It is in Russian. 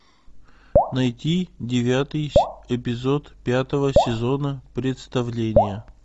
найти девятый эпизод пятого сезона представление